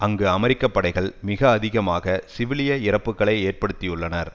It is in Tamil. அங்கு அமெரிக்க படைகள் மிக அதிகமாக சிவிலிய இறப்புக்களை ஏற்படுத்தியுள்ளளனர்